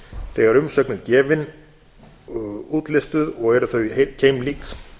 þegar umsögn er gefin útlistuð og eru þau keimlík